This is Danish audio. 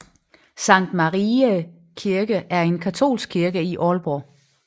Sankt Mariæ Kirke er en katolsk kirke i Aalborg